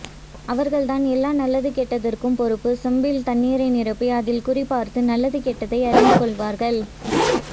அவர்தான் எல்லா நல்லது கெட்டதற்கும் பொறுப்பு செம்பில் தண்ணீரை நிரப்பி அதில் குறி பார்த்து நல்லது கெட்டதை அறிந்து கொள்வார்கள்